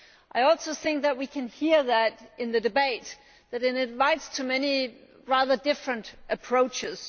I also think that we can hear that in the debate that it invites too many rather different approaches.